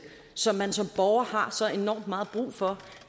som man som borger har så enormt meget brug for